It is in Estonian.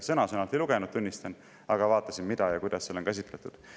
Sõna-sõnalt ei lugenud, tunnistan, aga vaatasin, mida ja kuidas seal on käsitletud.